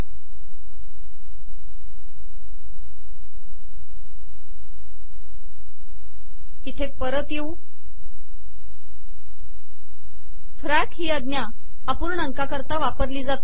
000918 000917 फॅक ही आजा अपुणाकािकरता वापरली जाते